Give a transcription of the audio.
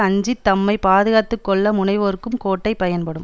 அஞ்சி தம்மை பாதுகாத்து கொள்ள முனைவோர்க்கும் கோட்டை பயன்படும்